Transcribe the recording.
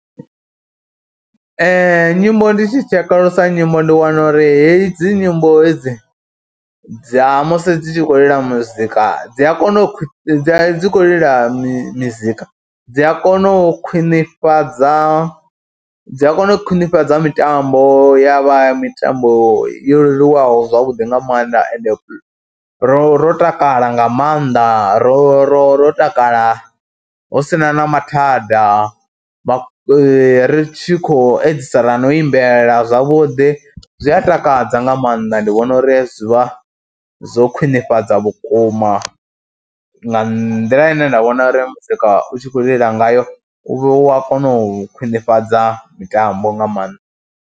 Nyimbo ndi tshi tshekulusa nyimbo ndi wana uri hedzi nyimbo hedzi dza musi dzi tshi khou lila muzika dzi a kona u dzi khou lila mizika dzi a kona u khwinifhadza, dzi a kona u khwinifhadza mitambo ya vha ya mitambo yo leluwaho zwavhuḓi nga maanḓa ende ro ro takala nga maanḓa ro ro ro takala hu si na na mathada, vha ri tshi khou edzisela na u imbela zwavhuḓi, zwi a takadza nga maanḓa. Ndi vhona uri zwi vha zwo khwinifhadza vhukuma nga nḓila ine nda vhona uri muzika u tshi khou lila ngayo u a kona u khwinifhadza mitambo nga maanḓa.